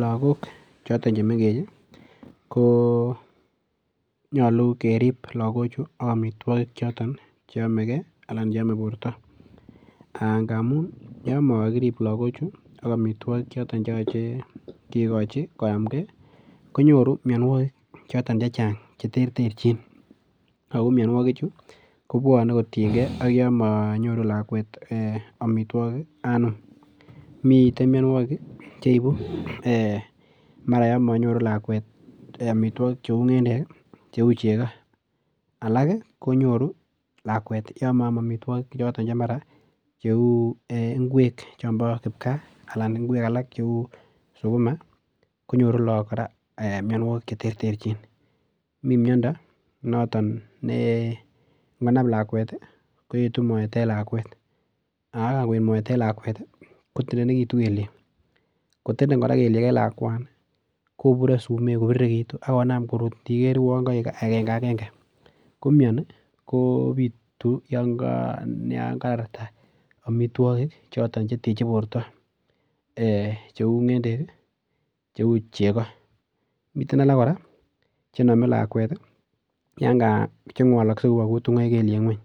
Lagok choton chemengech ko nyalu kerib lagochuto akmitwogik choto che yome borto angamun yon mokirip lagochu ak amitwogichoton chekegochi koyamnge konyoru mianwogik choton che chang cheterterchin ago mianwogichu kobwane kotienge ak yon manyoru lakwet ee amitwogik anum. Miten mianwogik mara yon manyoru lakwet amitwogik cheu ngendek, che chego. Alak konyoru lakwet yon maam amitwogik choton che mara cheu ingwek choton chebo kipkaa anan ingwek alak cheu sukuma konyoru lagok kora, mianwogik cheterterchin. Mi miondo noton ne ngonam lakwet koetu moet en lakwet, kanngoet moet en lakwet kotendenegitu kelyek. Kotenden kora kelyek en lakwani kobure sumek kobiriregitu ak konam korut iniger kouon kaek agengagenge. Komiani kopitu yon kararta amitwogik choton cheteche borto ee cheu ngendek, cheu chego. Miten alak kora chename lakwet chengwalakse yubo kutungoik lelyek ngwony